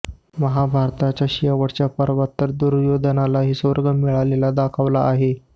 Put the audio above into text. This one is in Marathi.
महाभारताच्या शेवटच्या पर्वात तर दुर्योधनालाही स्वर्ग मिळालेला दाखवला आहे